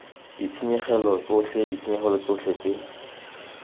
ditshenyegelo tsotlhe ditshenyegelo tsotlhe tse